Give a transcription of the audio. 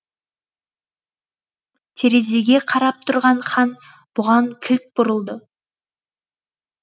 терезеге қарап тұрған хан бұған кілт бұрылды